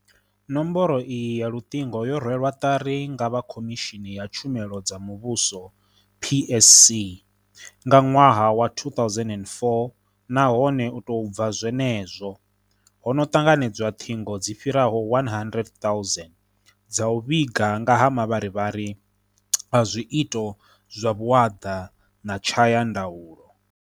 Nomboro iyi ya luṱingo yo rwelwa ṱari nga vha Khomishini ya Tshumelo dza Muvhuso PSC nga ṅwaha wa 2004 nahone u tou bva zwenezwo, ho no ṱanganedzwa ṱhingo dzi fhiraho 100 000 dza u vhiga nga ha mavharivhari a zwiito zwa vhuaḓa na tshayandaulo.